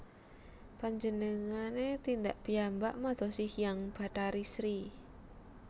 Panjenengane tindak piyambak madosi Hyang Bathari Sri